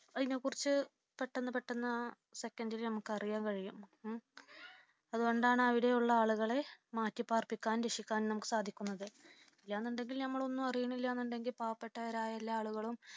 അതിനെ കുറിച്ച പെട്ടെന്ന് പെട്ടെന്ന് ആ second ൽ നമുക്ക് അറിയാൻ കഴിയും. അതുകൊണ്ടാണ് അവിടെയുള്ള ആളുകളെ മാറ്റിപാർപ്പിക്കാനും രക്ഷിക്കാനും നമ്മുക്ക് സാധിക്കുന്നത്. ഇല്ലാന്നുണ്ടെങ്കിൽ നമ്മൾ ഒന്നും അറിയുന്നില്ലന്നുണ്ടെങ്കിൽ പാവപ്പെട്ടവരായ എല്ലാ ആളുകളും